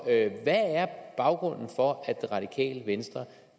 hvad er baggrunden for at det radikale venstre